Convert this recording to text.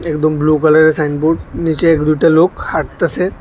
একদম ব্লু কালারের সাইনবোর্ড নিচে এক দুটা লোক হাঁটতাছে।